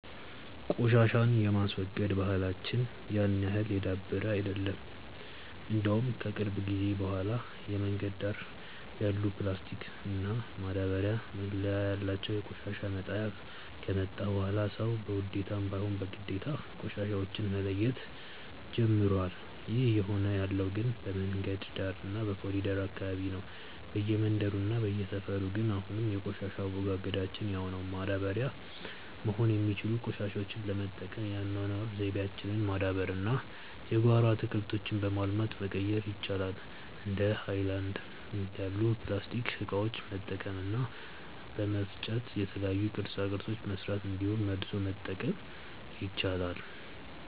ቆሻሻን የማስወገድ ባህላች ያን ያህል የዳበረ አይደለም። እንደውም ከቅርብ ጊዜ በኋላ የመንገድ ዳር ያሉ ፕላስቲክ እና ማዳበርያ መለያ ያላቸው የቆሻሻ መጣያ ከመጣ በኋላ ሰዉ በውዴታም ባይሆን በግዴታ ቆሻሻዎች መለየት ጀምሮዋል። ይህ እየሆነ ያለው ግን በመንገድ ዳር እና በኮሪደሩ አካባቢ ነው። በየመንደሩ እና በየሰፈሩ ግን አሁንም የቆሻሻ አወጋገዳችን ያው ነው። ማዳበሪያ መሆን የሚችሉትን ቆሻሾች ለመጠቀም የአኗኗር ዘይቤያችንን ማዳበር እና የጓሮ አትክልቶችን በማልማት መቀየር ይቻላል። እንደ ሀይለናድ ያሉ የፕላስቲክ እቃዎችን በመልቀም እና በመፍጨ የተለያዩ ቅርፃ ቅርፆችን መስራት እንዲሁም መልሶ መጠቀም ይቻላል።